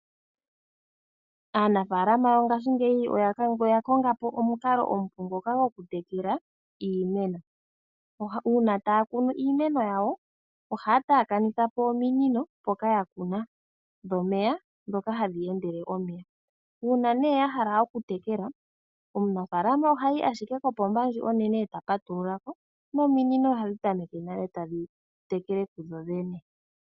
Aanafalama yongashingeyi oya konga po omukalo omupu ngoka gwoku tekela iimeno. Uuna taya kunu iimeno yawo ohaya taakanitha po ominino mpoka ya kuna, dhomeya ndhoka hadhi endelele omeya. Uuna ne ya hala okutekela omunafaalama ohayi ashike kopomba ndji onene eta patulula ko, nominino ohadhi tameke nale tadhi tekele kudho dhene.